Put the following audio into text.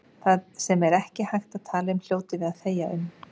Það sem ekki er hægt að tala um hljótum við að þegja um.